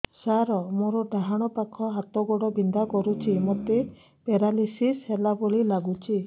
ସାର ମୋର ଡାହାଣ ପାଖ ହାତ ଗୋଡ଼ ବିନ୍ଧା କରୁଛି ମୋତେ ପେରାଲିଶିଶ ହେଲା ଭଳି ଲାଗୁଛି